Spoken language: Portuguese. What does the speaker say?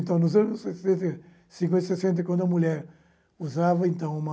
Então, nos anos sessenta cinquenta, sessenta, quando a mulher usava, então, uma...